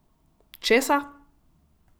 Česa?